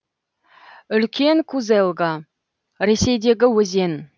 үлкен кузелга ресейдегі өзен